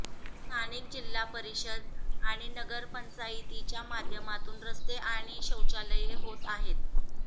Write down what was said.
स्थानिक जिल्हा परिषद आणि नगरपंचायतीच्या माध्यमातून रस्ते आणि शौचालये होत आहेत